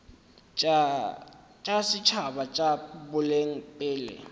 tša setšhaba tša boleng pele